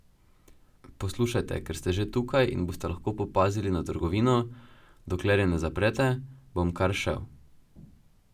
Poslušajte, ker ste že tukaj in boste lahko popazili na trgovino, dokler je ne zaprete, bom kar šel.